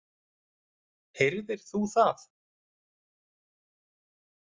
Heyrðir þú það?